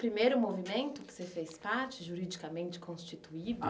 Primeiro movimento que você fez parte, juridicamente constituído?